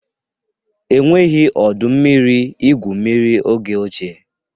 E nweghị ọdọ mmiri igwu mmiri oge ochie.